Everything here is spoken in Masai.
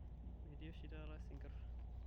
metii oshitaata isinkir